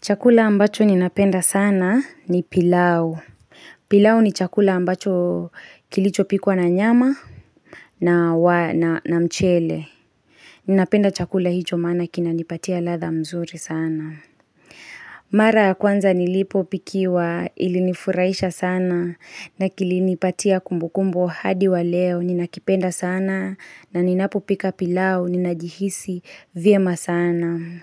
Chakula ambacho ninapenda sana ni pilau. Pilau ni chakula ambacho kilicho pikwa na nyama na wa na na mchele. Nnapenda chakula hicho maana kina nipatia ladha mzuri sana. Mara ya kwanza nilipo pikiwa ilinifuraisha sana na kilinipatia kumbukumbu hadi wa leo ninakipenda sana na ninapopika pilau ninajihisi vye masana. Na